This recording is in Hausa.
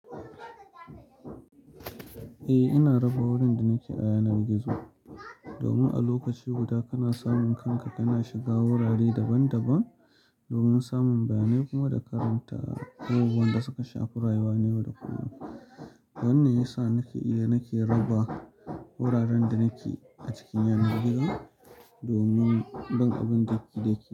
Eh, ina raba wurin da nake a yanar gizo domin a lokaci guda kana samun kanka kana shiga wurare daban daban domin samun bayanai kuma da karanta abubuwan da suka shafura wanene da kuma wanne yasa nake iya nake raba wuraren da nake a cikin yanar gizo domin ban abun daki daki.